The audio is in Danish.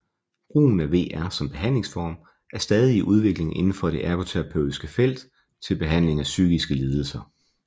Brugen af VR som behandlingsform er stadig i udvikling inden for det ergoterapeutiske felt til behandling af psykiske lidelser